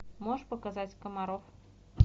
можешь показать комаров